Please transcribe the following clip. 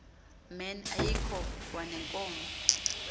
men ayikho kwaneenkomo